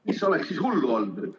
Mis oleks hullu olnud?